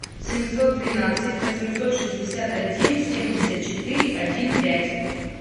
семьсот двенадцать восемьсот шестьдесят один семьдесят четыре один пять